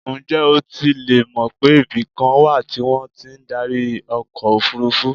Ǹjẹ́ o tilẹ̀ mọ̀ pé ibikan wà tí wọ́n ti ń darí ọkọ̀ òfurufú?